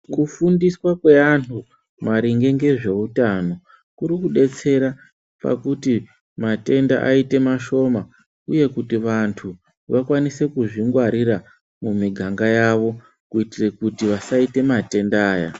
Kufundiswa kwevantu maringe ngezveutano kuri kudetsera pakuti matenda aite mashoma. Uye kuti vantu vakwanise kuzvingwarira mumiganga yavo kuitire kuti vasaite matenda aya.